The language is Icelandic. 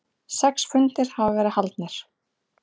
Sex fundir hafa verið haldnir.